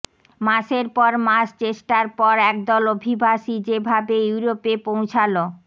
মাসের পর মাস চেষ্টার পর একদল অভিবাসী যেভাবে ইউরোপে পৌঁছাল